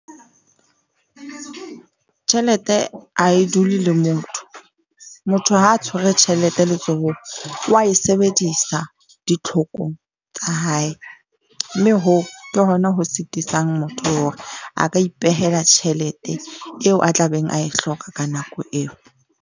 Tjhelete ha e dule le motho. Motho ha tshwere tjhelete letsohong wa e sebedisa ditlhokong tsa hae, mme hoo ke hona ho sitisang motho hore a ka ipehela tjhelete eo a tlabeng a e hloka ka nako eo.